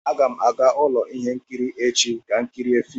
Aga m aga ụlọ ihe nkiri echi ka m kirie fim